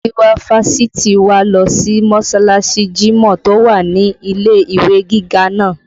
Giwa fásitì wa lọ sí mọsalasi jimọ tó wà ní ilé ìwé gíga náà